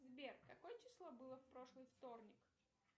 сбер какое число было в прошлый вторник